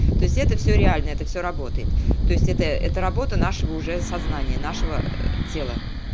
то есть это всё реально это всё работает то есть это это работа нашего уже сознание нашего тела